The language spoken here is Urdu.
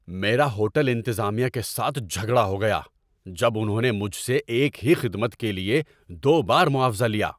میرا ہوٹل انتظامیہ کے ساتھ جھگڑا ہو گیا جب انہوں نے مجھ سے ایک ہی خدمت کے لیے دو بار معاوضہ لیا۔